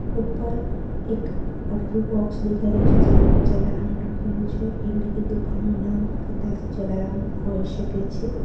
ઉપર એક અડધું બોક્સ દેખાય રહ્યું છે જેના પર જલારામ લખેલું છે એટલે કે દુકાનું નામ કદાચ જલારામ હોઈ શકે છે.